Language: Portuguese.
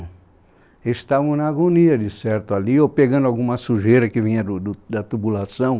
Eles estavam na agonia de certo ali, ou pegando alguma sujeira que vinha do do da tubulação.